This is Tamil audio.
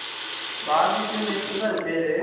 barbequation தான் அது பெரு